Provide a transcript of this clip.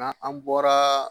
Nka an bɔra